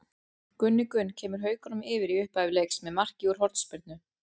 Gunni Gunn kemur Haukum yfir í upphafi leiks með marki úr hornspyrnu.